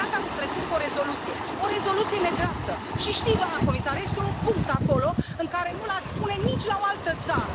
S a încheiat anul trecut cu o rezoluție, o rezoluție nedreaptă, și știți, doamnă comisar, că este un punct acolo pe care nu l ați pune la nicio altă țară.